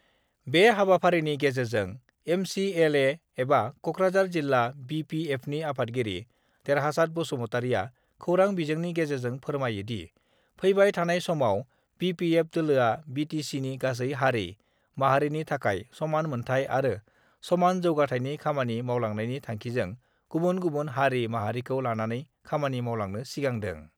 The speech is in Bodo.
बे हाबाफारिनि गेजेरजों एम सि एल ए एबा कक्राार जिल्ला बि पि एफनि आफादगिरि देरहासात बसुमतारिआ खौरां विजोंनि गेजेरजों फोरमायोदि, फैबाय थानाय समाव बि पि एफ दोलोआ बि टि सिनि गासै हारि, माहारिनि थाखाय समान मोन्थाइ आरो समान जौगाथाइनि खामानि मावलांनायनि थांखिजों गुबुन गुबुन हारि माहारिखौ लानानै खामानि मावलांनो सिगांदों।